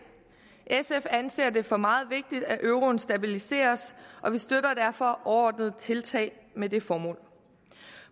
sf anser det for meget vigtigt at euroen stabiliseres og vi støtter derfor overordnede tiltag med det formål